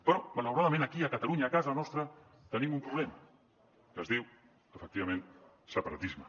però malauradament aquí a catalunya a casa nostra tenim un problema que es diu efectivament separatisme